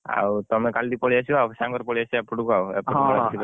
ଆଉ ତମେ କାଲି ପଳେଇ ଆସିବ ଆଉ ସାଙ୍ଗରେ ପଳେଇ ଆସିବ ଆଉ ଏପଟକୁ ଆଉ ।